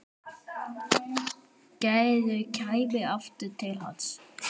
Gerður kæmi aftur til hans.